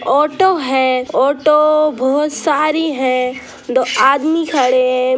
Auto है auto बहुत सारी है दो आदमी खड़े है।